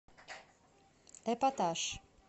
эпатаж